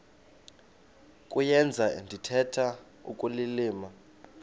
kuyenza ndithetha ukulilima